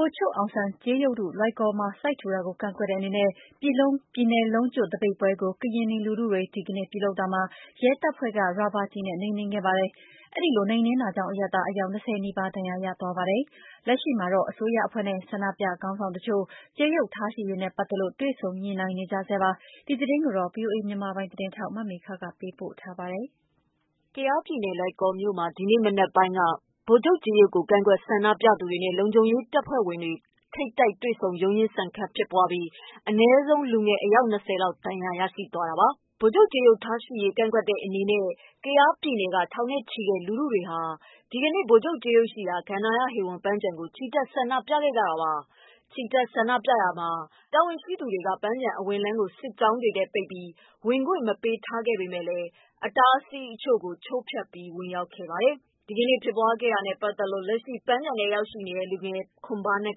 ိုလ်ချုပ်အောင်ဆန်းကြေးရုပ်ထု လွိုင်ကော်မှာ စိုက်ထူတာကို ကန့်ကွက်တဲ့အနေနဲ့ ပြည်နယ်လုံးကျွတ် သပိတ်ပွဲကို ကရင်နီလူထုတွေက ဒီကနေ့ပြုလုပ်တာမှာ ရဲတပ်ဖွဲ့က ရာဘာကျည်နဲ့ နှိမ်နင်းခဲ့ပါတယ်။ ဒီလိုနှိမ်နင်းတာကြောင့် အရပ်သား အယောက် ၂၀ နီးပါး ဒဏ်ရာရခဲ့ပါတယ်။ လက်ရှိမှာတော့ အစိုးရအဖွဲ့နဲ့ ဆန္ဒပြခေါင်းဆောင်အချို့တို့ ကြေးရုပ်ထားရှိရေးနဲ့ ပတ်သတ်လို့ တွေ့ဆုံညိနှိုင်းနေကြဆဲပါ။ ဒီသတင်းကို ဗွီအိုအေ သတင်းထောက်မေခက ပေးပို့ထားပါတယ်။ ကယားပြည်နယ်၊ လွိုင်ကော်မြို့မှာ ဒီနေ့ မနက်ပိုင်းက ဗိုလ်ချုပ်ကြေးရုပ်ကို ကန့်ကွက် ဆန္ဒပြသူတွေနဲ့ လုံခြုံရေးတပ်ဖွဲ့ဝင်တွေ ထိပ်တိုက်တွေ့ ရုန်းရင်းဆန်ခတ်ဖြစ်ပွားပြီး အနည်းဆုံး လူငယ် အယောက် ၂၀ လောက်ဒဏ်ရာရရှိသွားပါတယ်။ ဗိုလ်ချုပ် ကြေးရုပ်ကန့်ကွက်တဲ့အနေနဲ့ ကယားပြည်နယ်က ထောင်နဲ့ချီတဲ့ လူထုတွေဟာ ဒီကနေ့ ဗိုလ်ချုပ်ကြေးရုပ်ရှိရာ ကန္တာဟေဝန် ပန်းခြံမှာ ချီတက်ဆန္ဒပြနေကြတာပါ။ ချီတက်ဆန္ဒပြရာလမ်းမှာ တာဝန်ရှိသူတွေက ပန်းခြံအဝင်လမ်းကို စစ်ကြောင်းတွေနဲ့ ပိတ်ပြီး ဝင်ခွင့် မပေးထားပေမယ့် အတားအဆီးတချို့ကို ချိုးဖျက်ပြီး ဝင်ရောက်ခဲ့ကြပါတယ်။ ဒီကနေ့ ဖြစ်ပွားခဲ့တာနဲ့ပတ်သတ်လို့ လက်ရှိ ပန်းခြံထဲရောက်ရှိနေတဲ့ လူငယ် ခွန်ဘားနက်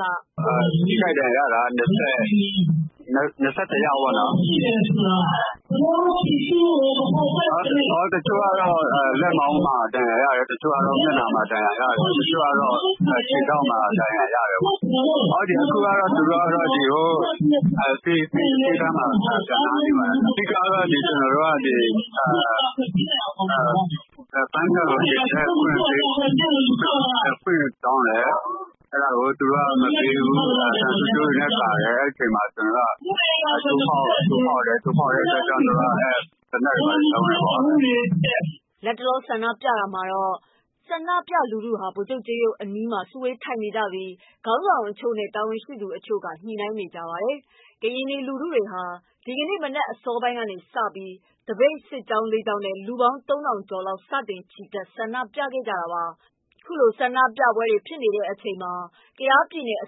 က “ထိခိုက် ဒဏ်ရာရတာက ၂၁ ယောက် တချို့ကတော့ လက်မောင်းမှာ ဒဏ်ရာရတယ်။တချို့ကတော့ လက်မောင်းမှာ တချို့တော့ ခြေထောက်မှာ အခုကတော့ သူတို့ကို ဆေးခန်းပို့ထားပါတယ်။ ကျနော်တို့ကတော့ ပန်းခြံထဲက ထွက်ခွင့်တောင်းတယ် အဲဒါကို မပေးဘူး သံဆူးကြိုးတွေနဲ့ ကာတယ် ။ အဲဒီအချိန်မှာ ကျနော်တို့ တိုးဖောက်တယ်။ အဲဒီအတွက် သူတို့ သနက်တွေ သုံးတယ်ပေါ့။" လတ်တလောမှာတော့ ဆန္ဒပြလူထုဟာ ဗိုလ်ချုပ်ကြေးရုပ်ရှိရာအနီးမှာ စုဝေးထိုင်ကြပြီး ခေါင်းဆောင်တချို့နဲ့ တာဝန်ရှိသူ တချို့က ညှိနှိုင်းနေပါတယ်။ ကရင်နီလူထုတွေဟာ ဒီကနေ့မနက် အစောပိုင်းကစပြီး သပိတ်စစ်ကြောင်း ၄ ကြောင်းနဲ့ လူပေါင်း ၃၀၀၀ ကျော်နဲ့ စတင် ချီတက် ဆန္ဒပြနေကြတာဖြစ်ပါတယ်။ ခုလို ဆန္ဒပြပွဲတွေ ဖြစ်နေတဲ့အချိန် ကယားပြည်နယ်အ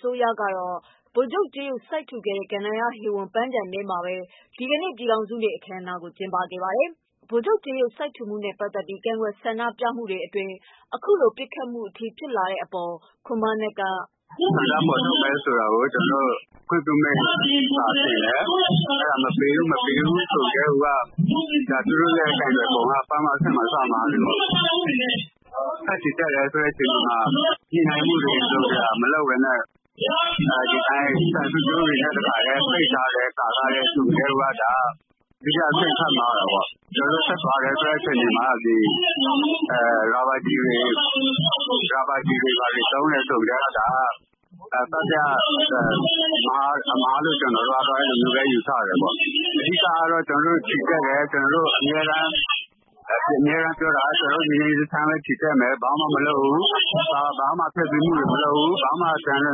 စိုးရကတော့ ဗိုလ်ချုပ်ကြေးရုပ်စိုက်ထူခဲ့တဲ့ ကန္ဒာဟေဝန်ပန်းခြံမှာပဲ ဒီကနေ့ ပြည်ထောင်စုနေ့ အခမ်းအနားကို ကျင်းပနေတာပါ။ ဗိုလ်ချုပ်ကြေးရုပ် စိုက်ထူမှုနဲ့ပတ်သက်ပြီး ကန့်ကွက်ဆန္ဒပြမှုတွေအတွင်း အခုလို ပစ်ခတ်တဲ့အထိဖြစ်လာတဲ့ အပေါ် ခွန်ဘားနက်က "ဆန္ဒဖော်ထုတ်မယ်ဆိုတာကို ခွင့်ပြုမိန့်ကျနော်တို့ တင်တယ်။ အဲဒါ မပေးဘူး အဲလိုဆိုကတည်းက သူတို့ရဲ့ ကိုင်တွယ်ပုံက အဲဒီပထမအချက်မှာတင် စမှားပြီပေါ့နော် ။ ညှိနှိုင်းမှုတွေ မလုပ်ပဲနဲ့ သံဆူးကြိုးတွေနဲ့ ကာထား ပိတ်ထားတယ် ဆိုကတည်းကိုက ဒုတိယအဆင့် ထပ်မှားတာပေါ့နော်။ ကျနော်တို့ ဆက်သွားတဲ့အချိန်မှာ ရာဘာကျည်တွေသုံးတယ်ဆိုကတည်းက တတိယအဆင့်အမှားလို့ ကျနော်တို့ ယူဆတယ် အဓိကအားဖြင့်တော့ ကျနော်တို့ချီတက်တယ် အမြဲတမ်းပြောတာကတော့ တညီတညွတ်ချီတက်မယ် ဘာမှ မလုပ်ဘူး ၊ ဘာမှ ဖျက်ဆီးမှုတွေမလုပ်ဘူး၊အကြမ်း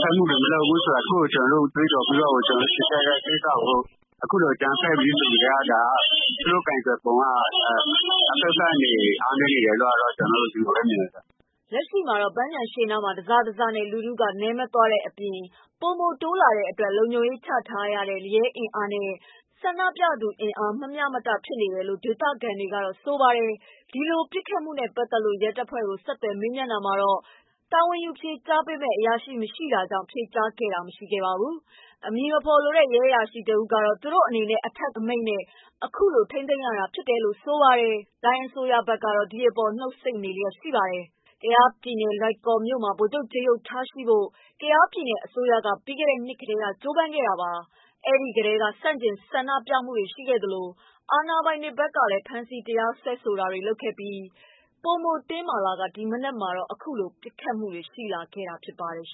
ဖက်မှုတွေမလုပ်ဘူးလို့ ငြိမ်းငြိမ်းချမ်းချမ်းချီတက်မယ်လို့ ကြွေးကျော် ချီတက်တဲ့ ကိစ္စကို အခုလိုအကြမ်းဖက်တယ်ဆိုကတည်းကိုက သူတို့ ကိုင်တွယ်ပုံက အဖက်ဖက်ကနေ အားနည်းနေတယ်လို့ ကျနော်တို့ အဲလိုပဲ မြင်ပါတယ်။ လက်ရှိမှာတော့ ပန်းခြံရှေ့နားမှာ တစနဲ့တစ လူထုက နည်းမသွားတဲ့အပြင် ပိုပိုတိုးလာတဲ့အတွက် လုံခြုံရေးချထားတဲ့ ရဲတပ်ဖွဲ့အင်အားနဲ့ ဆန္ဒပြအင်အားမမျှမတဖြစ်နေတယ်လို့ ဒေသခံတွေကတော့ ဆိုပါတယ်။ ဒီလိုပစ်ခတ်မှုနဲ့ပတ်သတ်လို့ ရဲတပ်ဖွဲ့ကိုဆက်သွယ်တာမှာတော့ တာဝန်ယူဖြေကြားပေးတဲ့ အရာရှိမရှိတာကြောင့် ဖြေကြားခဲ့တာမရှိပါဘူး။ အမည်မဖော် လိုတဲ့ ရဲအ၇ရာရှိတဦးကတော့ သူတို့အနေနဲ့ အထက်က အမိန့်နဲ့ အခုလိုထိန်းသိမ်းရတာဖြစ်တယ်လို့ဆိုပါတယ်။ တိုင်းအစိုးရဘက်ကတော့ ဒီအပေါ်နှုတ်ဆိတ်နေလျက်ရှိပါတယ်။ ကယားပြည်နယ်လွိုင်ကော်မြို့မှာ ဗိုလ်ချုပ်ကြေးရုပ်ထားရှိဖို့ ကယားပြည်နယ်အစိုးရက ပြီးခဲ့တဲ့နှစ်ကတည်းက ကြိုးပမ်းခဲ့တာပါ။ အဲဒီကတည်းက ဆန့်ကျင်ကန့်ကွက်မှုတွေရှိသလို အာဏာပိုင်တွေဖက်ကလည်း ဖမ်းဆီးတရားစွဲဆိုတာတွေလုပ်ခဲ့ပြီး ပိုမိုတင်းမာလာကာ ဒီမနက်မှာတော့ အခုလိုပြစ်ခတ်မှုရှိ လာတာဖြစ်ပါတယ်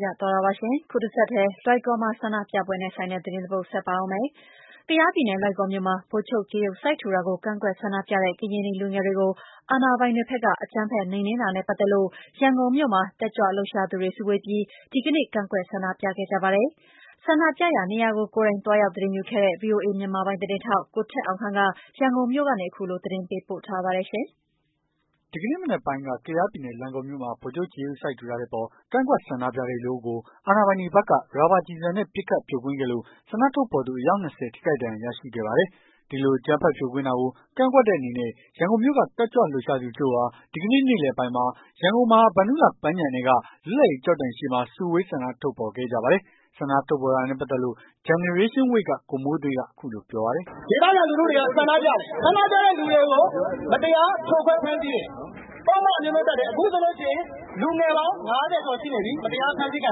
။ ကယားပြည်နယ် လွိုင်ကော်မြို့မှာ ဗိုလ်ချုပ်ကြေးရုပ် စိုက်ထူတာကို ကန့်ကွက်ဆန္ဒပြတဲ့ ကရင်နီလူငယ်တွေကို အာဏာပိုင်တွေက အကြမ်းဖက်နှိမ်နင်းတာနဲ့ပတ်သက်လို့ ရန်ကုန်မြို့က တက်ကြွလှုပ်ရှားသူတွေ စုဝေးပြီး ဒီကနေ့ ကန့်ကွက်ဆန္ဒပြခဲ့ ကြပါတယ်။ ဆန္ဒပြနေရာကို ကိုယ်တိုင် သွားရောက်သတင်းယူခဲ့တဲ့ ဗွီအိုအေ မြန်မာပိုင်း သတင်းထောက် ကိုထက်အောင်ခန့်က ရန်ကုန်မြို့ကနေ သတင်းပေးပို့ထားပါတယ်။ ဒီကနေ့မနက်ပိုင်းက ကယားပြည်နယ် လွိုင်ကော်မြို့မှာ ဗိုလ်ချုပ်ကြေးရုပ်စိုက်ထူတဲ့အပေါ် ကန့်ကွက် ဆန္ဒပြ တဲ့ လူအုပ်ကို အာဏာပိုင်တွေဘက်က ရာဘာကျည်ဆံနဲ့ပစ်ခတ် ဖြိုခွင်းခဲ့လို့ ဆန္ဒထုတ်ဖော်သူ အယောက် ၂၀ ထိခိုက်ဒဏ်ရာ ရရှိခဲ့ပါတယ်။ ဒီလိုအကြမ်းဖက်ဖြိုခွင်းတာကို ကန့်ကွက်တဲ့အနေနဲ့ ရန်ကုန်မြို့က တက်ကြွလှုပ်ရှားသူတချို့ဟာ ဒီကနေ့ နေ့လည်ပိုင်းမှာ ရန်ကုန် မဟာဗန္ဓုလမ်း ပန်းခြံထဲက လွတ်လပ်ရေး ကျောက်တိုင်ရှေ့မှာ စုဝေး ဆန္ဒထုတ်ဖော်ခဲ့ကြပါတယ်။ ဆန္ဒထုတ်ဖော်တာနဲ့ ပတ်သက်လို့ Generation Wave က ကိုမိုးသွေဃ်းက အခုလိုပြောပါတယ်။ "ဒေသခံလူတွေက ဆန္ဒပြတယ်။ ဆန္ဒပြတဲ့သူတွေကို မတရားဖမ်းဆီးတယ်။ ပုဒ်မ အမျိုးမျိုးတပ်တယ်။ အခုဆိုရင် လူငယ်ပေါင်း ၅၀ ကျော်ရှိနေပြီ မတရားဖမ်းဆီးခံ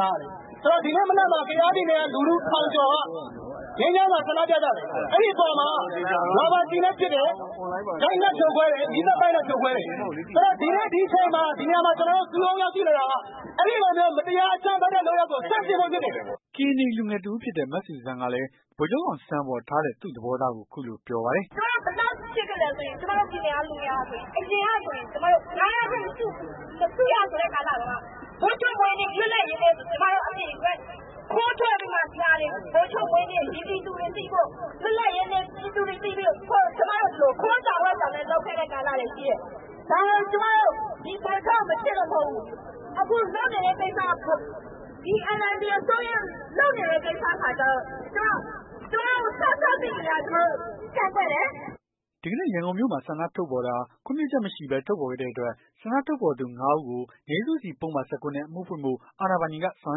ထားရတယ်။ ဒီနေ့မနက်မှာ ကယားပြည်နယ်က လူထု ထောင်ကျော်က ငြိမ်းချမ်းစွာ ဆန္ဒပြကြတယ်။ အဲ့ဒီအပေါ်မှာ ရာဘာကျည်နဲ့ပစ်တယ်။ ရိုက်နှက်ဖြိုခွဲ တယ်။ မီးသတ်ပိုက်နဲ့ဖြိုခွဲတယ်။ ဆိုတော့ ဒီနေ့ ဒီအချိန် ဒီနေရာမှာ ကျွန်တော်တို့ စုရုံးရောက်ရှိလာတာက အဲ့ဒီလို မတရားအကြမ်းဖက်တဲ့ လုပ်ရပ်ကို ဆန့်ကျင်ဖို့ ဖြစ်တယ်။" ကရင်နီလူငယ်တစ်ဦးဖြစ်တဲ့ မဇူဇန်ကလည်း ဗိုလ်ချုပ်အောင်ဆန်းအပေါ် ထားတဲ့ သူ့သဘောထားကို အခုလို ပြောပါတယ်။ "ကျွန်မတို့ ဘယ်လောက်ထိ ချစ်ခဲ့လည်းဆိုရင် ကျွန်မတို့ပြည်နယ်က လူတွေဟာဆိုရင် အရင်ကဆိုရင် ၅ ယောက်ထက် မစုရဆိုတဲ့ကာလတုန်းက ဗိုလ်ချုပ်မွေးနေ့ လွတ်လပ်ရေးနေ့ဆိုရင် ကျွန်မတို့ အပြင်ကို ခိုးထွက်ပြီးတော့မှ ဗိုလ်ချုပ်မွေးနေ့ ဒီပြည်သူတွေ သိဖို့ လွတ်လပ်ရေးနေ့ ပြည်သူတွေသိဖို့ ကျွန်မတို့ ခိုးကြောင် ဝှက်ကြောင်နဲ့ လုပ်ခဲ့တဲ့ ကာလတွေရှိတယ်။ ဒါကျွန်မတို့ ဗိုလ်ချုပ်ကို မချစ်လို့မဟုတ်ဘူး။ အခုလုပ်နေတဲ့ ကိစ္စက ဒီ NLD အစိုးရလုပ်နေတဲ့ ကိစ္စက ကျွန်မတို့ စစသိကတည်းက ကန့်က ွက်တယ်။" ဒီနေ့ ရန်ကုန်မြို့မှာ ဆန္ဒထုတ်ဖော်တာဟာ ခွင့်ပြုချက်မရှိဘဲ ထုတ်ဖော်ခဲ့တဲ့အတွက် ဆန္ဒထုတ်ဖော်သူ ၅ ဦးကို ငြိမ်းစုစီ ပုဒ်မ ၁၉ နဲ့ အမှုဖွင့်ဖို့ အာဏာပိုင်တွေက ဆောင်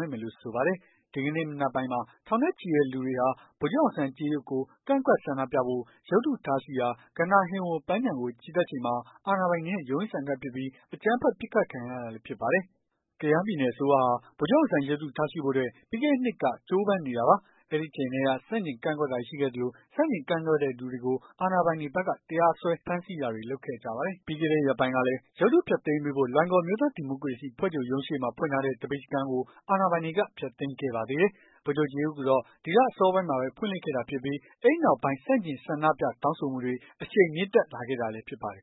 ရွက်မယ်လို့ ဆိုပါတယ်။ ဒီနေ့ မနက်ပိုင်းမှာ ထောင်နဲ့ချီတဲ့လူတွေဟာ ဗိုလ်ချုပ်ကြေးရုပ်ကိုကန့်ကွက် ဆန္ဒပြဖို့ ရုပ်တုထားရှိရာ ကန္တာဟေဝန် ပန်းခြံကို ချီတက်ချိန်မှာ အာဏာပိုင်တွေနဲ့ ရုန်းရင်းဆန်ခတ်ဖြစ်ပြီး အကြမ်းဖက် ပစ်ခတ်ခံခဲ့ ရတာလည်း ဖြစ်ပါတယ်။ ကယားပြည်နယ်အစိုးရဟာ ဗိုလ်ချုပ်အောင်ဆန်းရုပ်တု ထားရှိဖို့အတွက် ပြီးခဲ့တဲ့ နှစ်ကတည်းက ကြိုးပမ်း နေတာပါ။ အဲ့အချိန်ကတည်းက ဆန့်ကျင်ကန့်ကွက်တာတွေ ရှိခဲ့သလို ဆန့်ကျင်ကန့်ကွက်တဲ့သူတွေကို အာဏာပိုင်တွေဘက်က ဖမ်းဆီးတရားစွဲဆိုတာ တွေလုပ်ခဲ့ကြပါတယ်။ ပြီးခဲ့တဲ့ရက်ပိုင်းကလည်း ရုပ်တု ဖျက်သိမ်းပေးဖို့ လွိုင်ကော် အမျိုးသားဒီမိုကရေစီအဖွဲ့ချုပ်ရုံးရှေ့မှာ ဖွင့်ထားတဲ့ သပိတ်စခန်းကို အာဏာပိုင်တွေက ဖျက်သိမ်းခဲ့ပါသေးတယ်။ ဗိုလ်ချုပ်ကြေးရုပ်ကိုတော့ ဒီလအစောပိုင်းမှာပဲ ဖွင့်လှစ်ခဲ့တာဖြစ်ပြီး အဲဒီနောက်ပိုင်း ဆန့်ကျင် ဆန္ဒပြ တောင်းဆိုမှုတွေ အရှိန်မြင့်တက်လာခဲ့တာလည်း ဖြစ်ပါတယ်